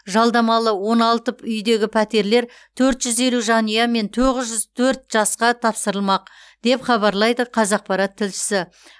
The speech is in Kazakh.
жалдамалы он алты үйдегі пәтерлер төрт жүз елу жанұя мен тоғыз жүз төрт жасқа тапсырылмақ деп хабарлайды қазақпарат тілшісі